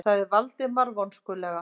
sagði Valdimar vonskulega.